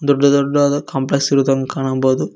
ದೊಡ್ಡ ದೊಡ್ಡದಾದ ಕಾಂಪ್ಲೆಕ್ಸ್ ಗಳನ್ನು ಕಾಣಬೌದು.